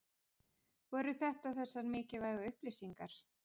Voru þetta þessar mikilvægu upplýsingar?